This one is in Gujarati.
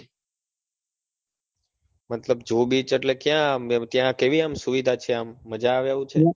મતલબ જુ beach એટલે ક્યા આમ કેવી આમ સુવિધા છે આમ મજા આવે એવું છે?